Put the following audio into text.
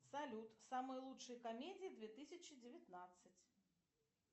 салют самые лучшие комедии две тысячи девятнадцать